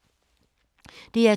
DR2